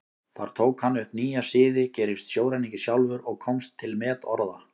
Þar tók hann upp nýja siði, gerist sjóræningi sjálfur og komst til metorða.